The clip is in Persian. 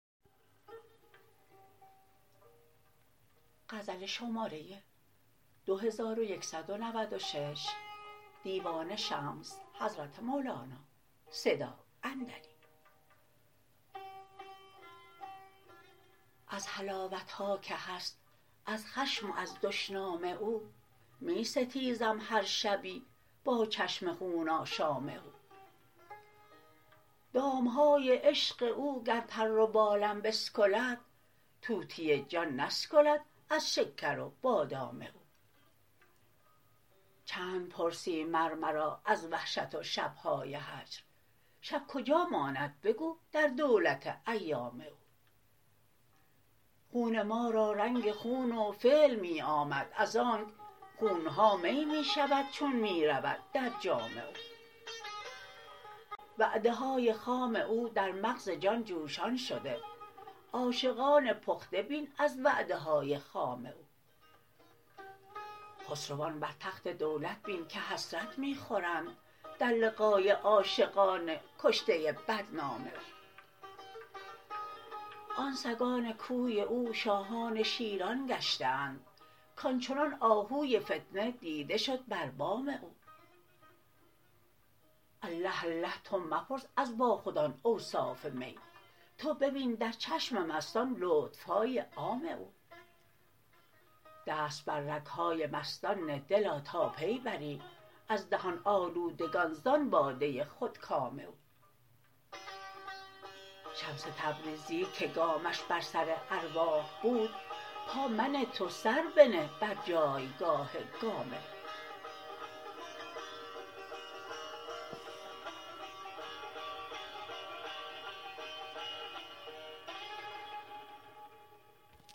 از حلاوت ها که هست از خشم و از دشنام او می ستیزم هر شبی با چشم خون آشام او دام های عشق او گر پر و بالم بسکلد طوطی جان نسکلد از شکر و بادام او چند پرسی مر مرا از وحشت و شب های هجر شب کجا ماند بگو در دولت ایام او خون ما را رنگ خون و فعل می آمد از آنک خون ها می می شود چون می رود در جام او وعده های خام او در مغز جان جوشان شده عاشقان پخته بین از وعده های خام او خسروان بر تخت دولت بین که حسرت می خورند در لقای عاشقان کشته بدنام او آن سگان کوی او شاهان شیران گشته اند کان چنان آهوی فتنه دیده شد بر بام او الله الله تو مپرس از باخودان اوصاف می تو ببین در چشم مستان لطف های عام او دست بر رگ های مستان نه دلا تا پی بری از دهان آلودگان زان باده خودکام او شمس تبریزی که گامش بر سر ارواح بود پا منه تو سر بنه بر جایگاه گام او